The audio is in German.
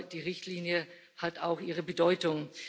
Aber die Richtlinie hat auch ihre Bedeutung.